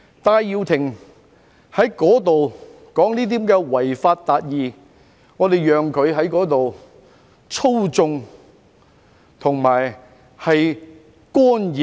戴耀廷說甚麼違法達義，我們任由他在那裏操縱和干預學校。